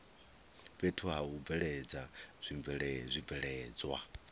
fhethu ha u bveledza zwibveledzwa